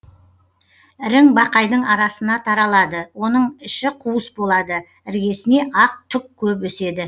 ірің бақайдың арасына таралады оның іші қуыс болады іргесіне ақ түк көп өседі